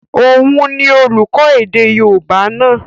Òun ni olùkọ́ èdè yóòbá náà